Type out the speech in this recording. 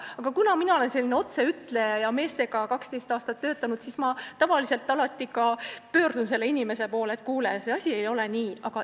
Aga kuna mina olen selline otseütleja ja 12 aastat meestega töötanud, siis ma tavaliselt alati pöördun inimese poole ja ütlen, et see asi ei ole nii.